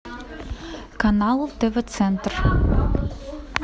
канал тв центр